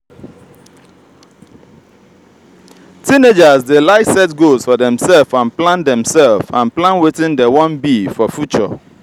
teenagers de like set goals for themselve and plan themselve and plan wetin dem won be for future